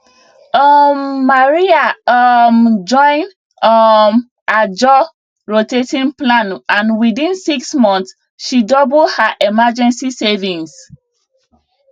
um maria um join um ajo rotating plan and within 6 months she double her emergency savings